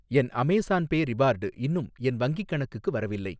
என் Amazon Pay reward இன்னும் என் வங்கிக் கணக்குக்கு வரவில்லை.